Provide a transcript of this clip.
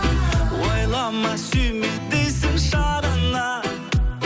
ойлама сүйме дейсің шағына